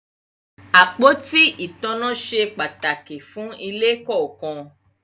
Àpótí ìtanná se pàtàkì fún ilé kọ̀ọ̀kan